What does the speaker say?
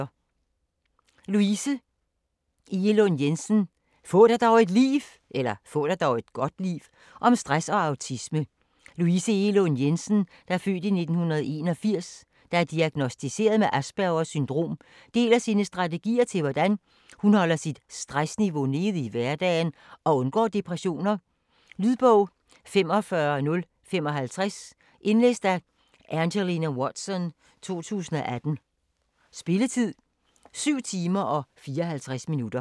Egelund Jensen, Louise: Få dig dog et (godt) liv!: om stress og autisme Louise Egelund Jensen (f. 1981), der er diagnosticeret med Aspergers syndrom, deler sine strategier til hvordan hun holder sit stressniveau nede i hverdagen og undgår depressioner. Lydbog 45055 Indlæst af Angelina Watson, 2018. Spilletid: 7 timer, 54 minutter.